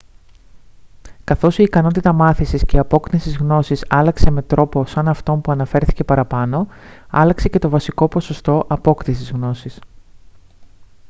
καθώς η ικανότητα μάθησης και απόκτησης γνώσης άλλαξε με τρόπο σαν αυτόν που αναφέρθηκε παραπάνω άλλαξε και το βασικό ποσοστό απόκτησης γνώσης